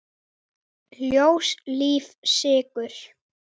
Ljós, líf, sigur.